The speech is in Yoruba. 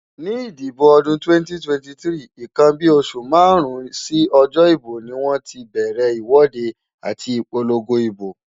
Nígbà ìdìbò ọdún 2023,nnkan bí oṣù márùn-ún sí ọjọ́ ìbò ni wọ́n ti bẹ̀rẹ̀ ìwọ́de àti ìpolongo ibo.